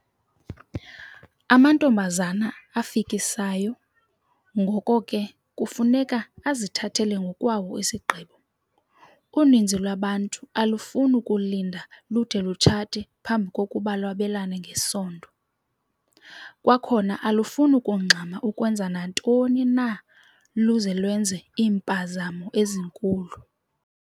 Amantombazana afikisayo, ngoko ke, kufuneka azithathele ngokwawo isigqibo. Uninzi lwabantu alufuni kulinda lude lutshate phambi kokuba lwabelane ngesondo. Kwakhona alufuni kungxama ukwenza nantoni na luze lwenze iimpazamo ezinkulu.